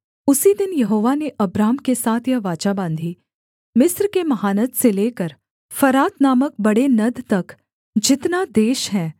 उसी दिन यहोवा ने अब्राम के साथ यह वाचा बाँधी मिस्र के महानद से लेकर फरात नामक बड़े नद तक जितना देश है